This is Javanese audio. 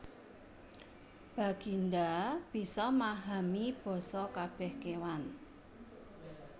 Baginda bisa mahami basa kabeh kewan